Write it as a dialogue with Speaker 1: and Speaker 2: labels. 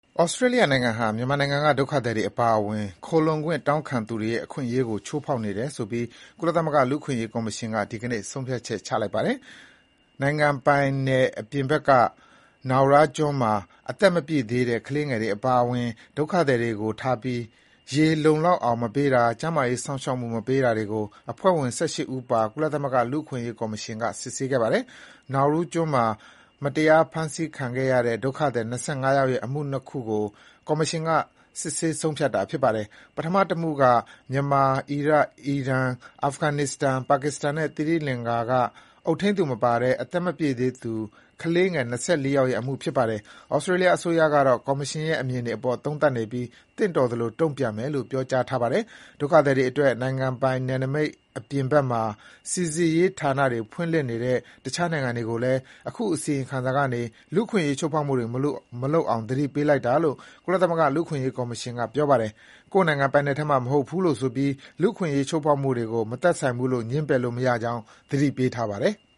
Speaker 1: ဩစတြေးလျနိုင်ငံဟာ မြန်မာနိုင်ငံက ဒုက္ခသည်တွေအပါအဝင် ခိုလှုံခွင့် တောင်းခံသူတွေရဲ့ အခွင့်အရေးကို ချိုးဖေါက်နေတယ်ဆိုပြီး ကုလသမဂ္ဂ လူ့အခွင့်အရေး ကော်မရှင်က ဒီနေ့ ဆုံးဖြတ်ချက် ချလိုက်ပါတယ်။ နိုင်ငံပိုင်နယ်အပြင်ဘက် Naura ကျွန်းမှာ အသက်မပြည့်သေးတဲ့ ကလေးငယ်တွေ အပါအဝင် ဒုက္ခသည်တွေကိုထားပြီး ရေလုံလောက်အောင် မပေးတာ၊ ကျန်းမာရေး စောင့်ရှောက်မှု မပေးတာတွေကို ဖွဲ့ဝင် ၁၈ ဦးပါ ကုလသမဂ္ဂ လူ့အခွင့်အရေးကော်မရှင်က စစ်ဆေးခဲ့ပါတယ်။ Naura ကျွန်းမှာ မတရားဖမ်းဆီးခံခဲ့ရတဲ့ ဒုက္ခသည် ၂၅ ယောက်ရဲ့ အမှု ၂ ခုကို ကော်မရှင်က စစ်ဆေးဆုံးဖြတ်တာဖြစ်ပါတယ်။ ပထမ တမှုက မြန်မာ၊ အီရတ်၊ အီရန်၊ အာဖဂန်နစ္စတန်၊ ပါကစ္စတန်နဲ့ သီရိလင်္ကာက အုပ်ထိန်းသူမပါတဲ့ အသက်မပြည့်သေးသူ ကလေးငယ် ၂၄ ယောက်ရဲ့ အမှုဖြစ်ပါတယ်။ ဩစတြေးလျအစိုးရကတော့ ကော်မရှင်ရဲ့ အမြင်တွေအပေါ် သုံးသပ်နေပြီး သင့်တော်သလို တုံ့ပြန်မယ်လို့ ပြောကြားထားပါတယ်။ ဒုက္ခသည်တွေအတွက် နိုင်ငံပိုင်နယ်နမိတ်အပြင်ဘက်မှာ စီစစ်ရေးဌာနတွေ ဖွင့်လှစ်နေတဲ့ တခြားနိုင်ငံတွေကိုလည်း အခုအစီရင်ခံစာကနေ လူ့အခွင့်အရေးချိုးဖောက်မှုတွေ မလုပ်အောင် သတိပေးလိုက်တာလို့ ကုလသမဂ္ဂ လူ့အခွင့်အရေးကော်မရှင်က ပြောပါတယ်။ ကိုယ့်နိုင်ငံပိုင်နယ်ထဲမှာ မဟုတ်လို့ဆိုပြီး လူ့အခွင့်အရေးချိုးဖေါက်မှုတွေကို မသက်ဆိုင်ဘူးလို့ ငြင်းပယ်လို့မရကြောင်း သတိပေးထားပါတယ်။